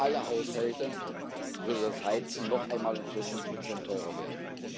Für alle Haushalte würde das Heizen noch einmal um vierzig Prozent teurer werden.